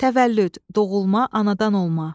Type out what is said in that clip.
Təvəllüd, doğulma, anadan olma.